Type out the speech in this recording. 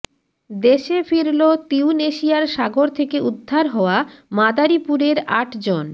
দেশে ফিরল তিউনেশিয়ার সাগর থেকে উদ্ধার হওয়া মাদারীপুরের আটজন